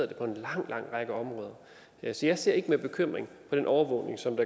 det på en lang lang række områder jeg ser ser ikke med bekymring på den overvågning som